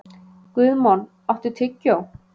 Guðmon, áttu tyggjó?